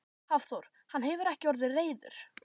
Hafþór: Hann hefur ekki orðið reiður?